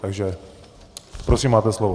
Takže prosím, máte slovo.